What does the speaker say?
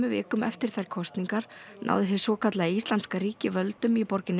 vikum eftir þær kosningar náði hið svokallaða Íslamska ríki völdum í borginni